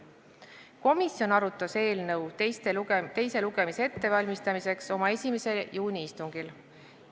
Komisjon arutas eelnõu teise lugemise ettevalmistamiseks oma 1. juuni istungil.